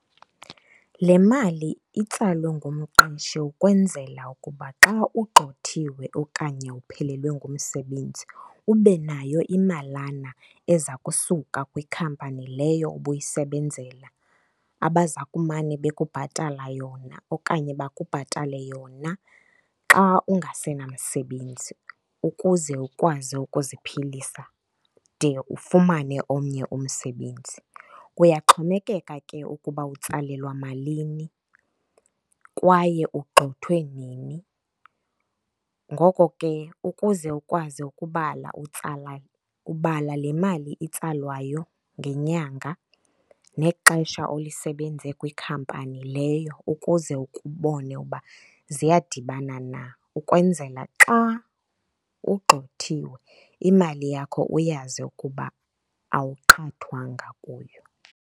Le mali itsalwe ngumqeshi ukwenzela ukuba xa ugxothiwe okanye uphelelwe ngumsebenzi ube nayo imalana eza kusuka kwikhampani leyo ubuyisebenzela abaza kumane bekubhatala yona okanye bakubhatale yona xa ungasenamsebenzi ukuze ukwazi ukuziphilisa de ufumane omnye umsebenzi. Kuyaxhomekeka ke ukuba utsalelwa malini kwaye ugxothwe nini. Ngoko ke ukuze ukwazi ukubala utsala, ubala le mali itsalwayo ngenyanga nexesha olisebenze kwikhampani leyo ukuze ubone uba ziyadibana na, ukwenzela xa ugxothiwe imali yakho uyazi ukuba awuqhathwanga kuyo.